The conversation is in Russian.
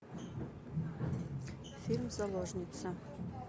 фильм заложница